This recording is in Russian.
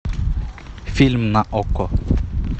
фильм на окко